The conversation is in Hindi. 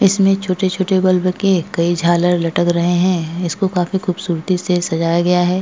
इसमें छोटे-छोटे बल्ब के कई झालर लटक रहे हैं इसको काफी खूबसूरती से सजाया गया है।